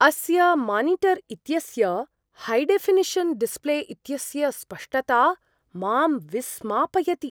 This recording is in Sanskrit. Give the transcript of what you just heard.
अस्य मानिटर् इत्यस्य हैडेऴिनिषन् डिस्प्ले इत्यस्य स्पष्टता मां विस्मापयति।